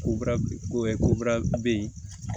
Ko ko bara bɛ yen